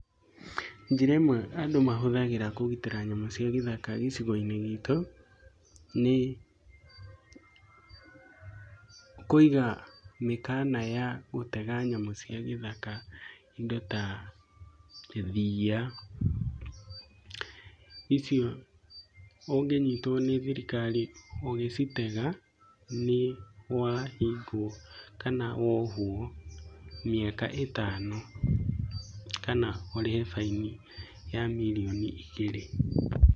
Njĩra ĩmwe andũ mahũthagĩra kũgitĩra nyamũ cia gĩthaka gĩcigo-inĩ gitũ, nĩ kũiga mĩkana ya gũtega nyamũ cia gĩthaka. Indo ta thia. Icio ũnginyitwo nĩ thirikari ũgĩcitega, nĩwahingwo kana wohwo mĩaka ĩtano kana ũrĩhe baini ya mirioni igĩrĩ.